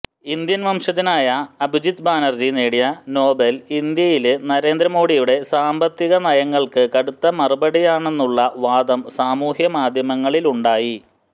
Indian വംശജനയായ അഭിജിത് ബാനര്ജി നേടിയ Nobel ഇന്ത്യയില് നരേന്ദ്ര മോഡിയുടെ സാമ്പത്തികനയങ്ങള്ക്ക് കടുത്ത മറുപടിയാണെന്നുള്ള വാദം സാമൂഹിക മാധ്യമങ്ങളിലുമുണ്ടായി